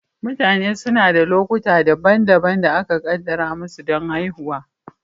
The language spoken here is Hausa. Mutane suna da lokuta daban-daban da aka kaddara musu don haihuwa.